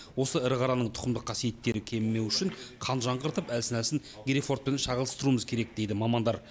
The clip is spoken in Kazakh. осы ірі қараның тұқымдық қасиеттері кемімеу үшін қан жаңғыртып әлсін әлсін герефордпен шағылыстыруымыз керек дейді мамандар